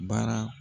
Baara